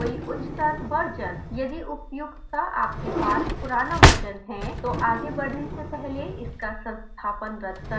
यदि उपर्युक्त का आपके पास पुराना versions है तो आगे बढ़ने से पहले इनका संस्थापन रद्द कर दें